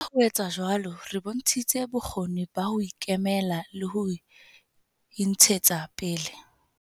Ka ho etsa jwalo, re bontshitse bokgoni ba ho ikemela le ho intshetsa pele.